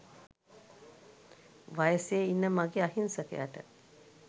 වයසෙ ඉන්න මගේ අහිංසකයට